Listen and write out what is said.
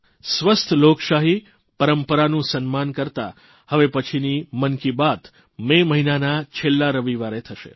સ્વસ્થ લોકશાહી પરંપરાનું સન્માન કરતાં હવે પછીની મન કી બાત મે મહિનાના છેલ્લા રવિવારે થશે